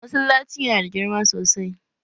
Masallacin yana da girma sosai